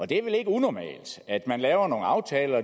det er vel ikke unormalt at man laver nogle aftaler